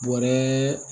Bɔrɛ